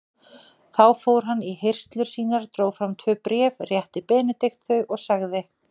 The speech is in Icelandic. Þá fór hann í hirslur sínar, dró fram tvö bréf, rétti Benedikt þau og sagði